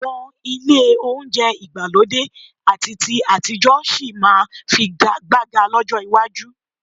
Àwọn ilé olóunjẹ ìgbàlódé àti ti àtijọ́ sì máa figagbága lọ́jọ́ iwájú